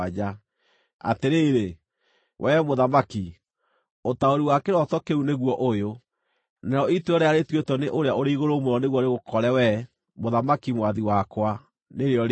“Atĩrĩrĩ, wee mũthamaki, ũtaũri wa kĩroto kĩu nĩguo ũyũ, narĩo ituĩro rĩrĩa rĩtuĩtwo nĩ Ũrĩa-ũrĩ-Igũrũ-Mũno nĩguo rĩgũkore wee, mũthamaki, mwathi wakwa, nĩrĩo rĩĩrĩ: